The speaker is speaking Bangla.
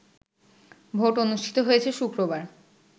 ভোট অনুষ্ঠিত হয়েছে শুক্রবার